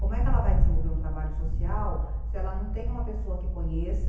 Como é que ela vai desenvolver um trabalho social se ela não tem uma pessoa que conheça